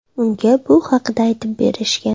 Unga bu haqda aytib berishgan.